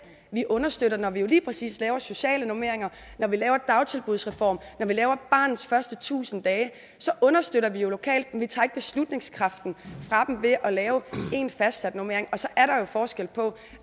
vi understøtter når vi lige præcis laver sociale normeringer når vi laver dagtilbudsreform når vi laver barnets første tusind dage så understøtter vi jo lokalt men tager ikke beslutningskraften fra dem ved at lave en fastsat normering og så er der forskel på